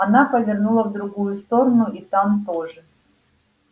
она повернула в другую сторону и там тоже